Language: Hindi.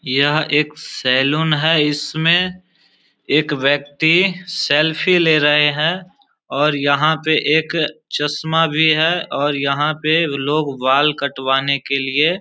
यह एक सैलून है इसमें एक व्यक्ति सेल्फी ले रहे हैं और यहां पे एक चश्मा भी है और यहां पे लोग बाल कटवाने के लिए |